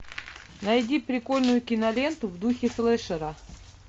найди прикольную киноленту в духе флешера